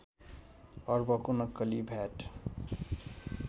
अर्बको नक्कली भ्याट